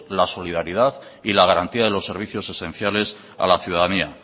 la solidaridad y la garantía de los servicios esenciales a la ciudadanía